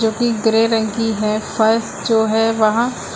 जो कि ग्रे रंग की है फर्स्ट जो है वहां--